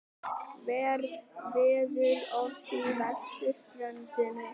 Veðurofsi á vesturströndinni